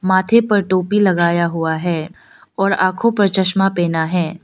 माथे पर टोपी लगाए हुआ है और आंखों पर चश्मा पहना है।